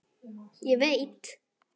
Ég veit.